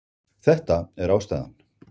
Þetta er ástæðan